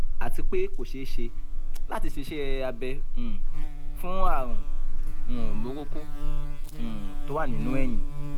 àti pé kò ṣeé ṣe láti ṣe iṣẹ́ abẹ um fún ààrùn um burúkú um tó wà nínú ẹyin